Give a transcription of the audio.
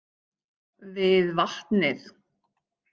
Við vatnið.